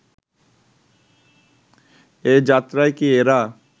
এ যাত্রায় কি এরা